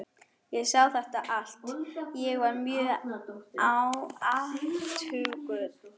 Ég sá þetta allt- ég var mjög athugull.